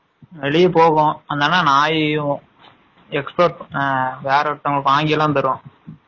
வெலிய போகும் அதுனால, னாயையும் export ஆ வேர ஒருதவங்கல்லுக்கு வாங்கி எல்லாம் தரும்